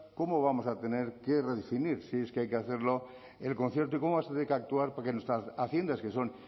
cómo vamos a tener que redefinir si es que hay que hacerlo el concierto y cómo vamos a tener que actuar porque nuestras haciendas que son